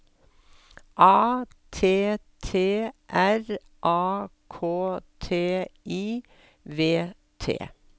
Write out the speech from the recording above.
A T T R A K T I V T